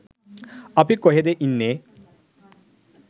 අපි කොහෙද ඉන්නේ